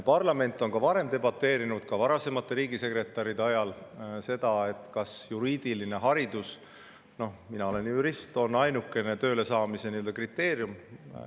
Parlament on ka varem debateerinud, ka varasemate riigisekretäride ajal, selle üle, kas juriidiline haridus – noh, mina olen jurist – on tööle saamise kriteerium.